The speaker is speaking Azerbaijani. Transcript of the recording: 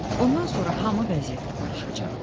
Bundan sonra hamı vəziyyətlə barışacaq.